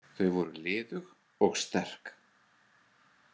Þau voru liðug og sterk.